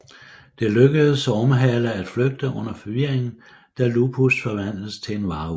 Det lykkes Ormehale at flygte under forvirringen da Lupus forvandles til en varulv